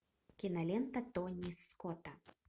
кинолента тони скотта